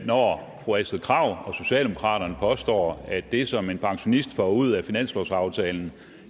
når fru astrid krag og socialdemokraterne påstår at det som en pensionist får ud af finanslovsaftalen